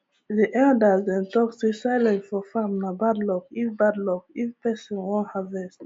the elders dem talk say silence for farm nah bad luck if bad luck if persin wan harvest